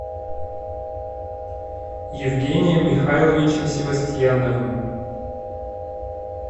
евгением михайловичем севастьяновым